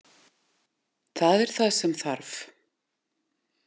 Það er það sem þarf.